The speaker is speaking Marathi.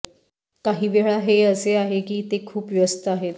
काहीवेळा हे असे आहे की ते खूप व्यस्त आहेत